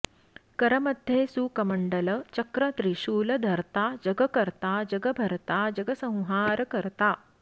कर मध्ये सुकमण्डल चक्र त्रिशूल धर्ता जगकर्ता जगभर्ता जगसंहारकर्ता